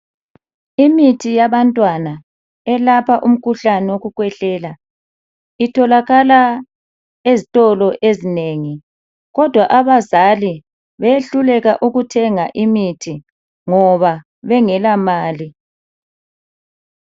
Imithi yabantwana elapha umkhuhlane wokukhwehlela itholakala ezitolo ezinengi kodwa abazali behluleka ukuthenga imithi ngoba bengelamali.